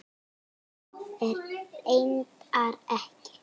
Svo er reyndar ekki.